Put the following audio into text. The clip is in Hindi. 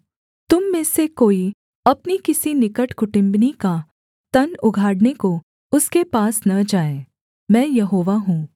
तुम में से कोई अपनी किसी निकट कुटुम्बिनी का तन उघाड़ने को उसके पास न जाए मैं यहोवा हूँ